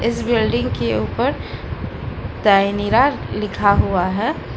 Building के ऊपर तैनीरा लिखा हुआ है।